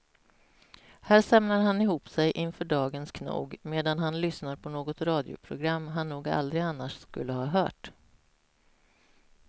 Här samlar han ihop sig inför dagens knog medan han lyssnar på något radioprogram han nog aldrig annars skulle ha hört.